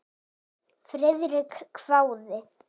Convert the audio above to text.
Friðrik hváði.